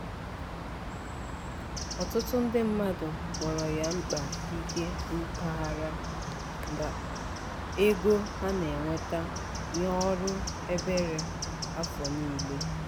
ọtụtụ ndị mmadụ kpọrọ ya mkpa ike mpaghara ego ha na-enweta nye ọrụ ebere afọ niile.